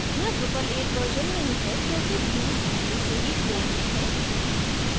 यहाँ drupal 8 version नहीं है क्योंकि views पहले से ही core में है